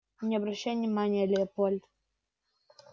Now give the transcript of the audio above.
не обращай внимания леопольд